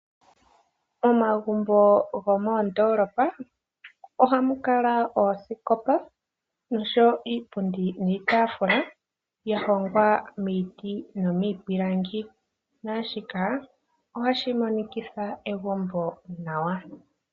Omagumbo gomondoolopa ohamu kala oosikopa nosho woo iipundi niitaafula ya hongwa miiti nomiipilangi, naashoka ohashi monikitha egumbo nawa.